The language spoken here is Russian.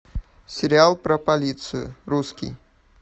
сериал про полицию русский